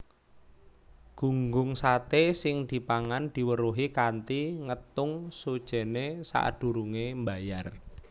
Gunggung saté sing dipangan diweruhi kanthi ngétung sujènné sadurungé mbayar